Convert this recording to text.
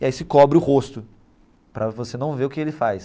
E aí se cobre o rosto, para você não ver o que ele faz.